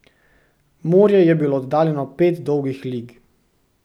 Morje je bilo oddaljeno pet dolgih lig.